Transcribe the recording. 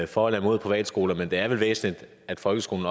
for eller imod privatskoler men det er vel væsentligt at folkeskolen